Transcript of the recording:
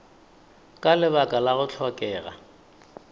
ka lebaka la go hlokega